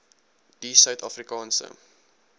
die suid afrikaanse